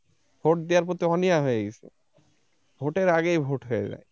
vote দেয়ার প্রতি অনীহা হয়ে গেছে vote এর আগেই vote হয়ে যায় ।